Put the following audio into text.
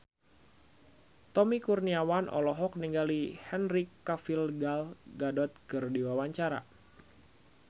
Tommy Kurniawan olohok ningali Henry Cavill Gal Gadot keur diwawancara